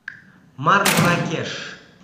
марракеш